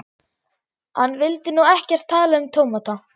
Hann vildi nú ekkert tala um tómata.